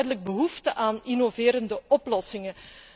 Er is heel duidelijk behoefte aan innoverende oplossingen.